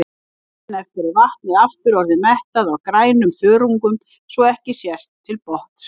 Daginn eftir er vatnið aftur orðið mettað af grænum þörungum svo ekki sést til botns.